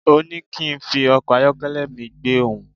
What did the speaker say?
Òní kín fi ọkọ̀ ayọ́kẹ́lẹ́ mi gbe òhun